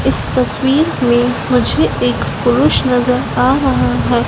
इस तस्वीर मैं मुझे एक पुरूष नजर आ रहा हैं।